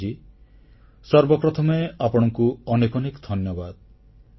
ରମଣ ଜୀ ସର୍ବପ୍ରଥମେ ଆପଣଙ୍କୁ ଅନେକ ଅନେକ ଧନ୍ୟବାଦ